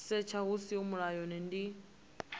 setsha hu siho mulayoni ndi